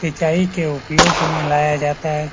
सिंचाई के उपयोग में लाया जाता है।